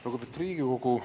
Lugupeetud Riigikogu!